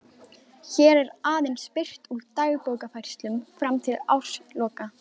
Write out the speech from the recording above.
Hér er aðeins birt úr dagbókarfærslum fram til ársloka